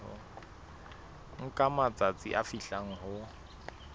nka matsatsi a fihlang ho